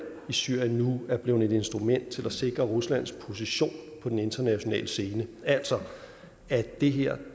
i syrien nu er blevet et instrument til at sikre ruslands position på den internationale scene altså at det her